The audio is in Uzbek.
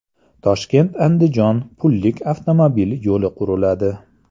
ToshkentAndijon pullik avtomobil yo‘li quriladi.